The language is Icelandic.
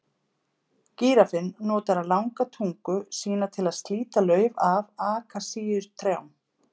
Gíraffinn notar langa tungu sína til að slíta lauf af akasíutrjám.